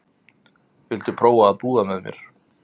Viltu prófa að búa með mér.